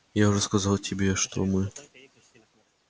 я уже сказал тебе что мы